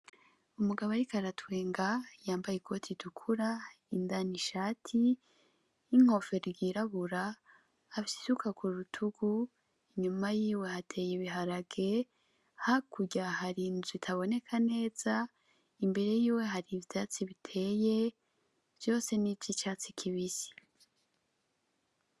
Umugabo ariko aratwenga yambaye ikoti itukura, indani ishati, n'inkofero ryirabura, afise isuka kurutugu, inyuma yiwe hateye ibiharage, hakurya hari inzu itaboneka neza, imbere yiwe hari ivyatsi biteye, vyose nivy'icatsi kibisi.